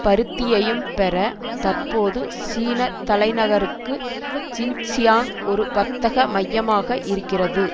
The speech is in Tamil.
பருத்தியையும் பெற தற்போது சீன தலைநகருக்கு ஜின்ஜியாங் ஒரு வர்த்தக மையமாக இருக்கிறது